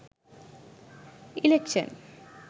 election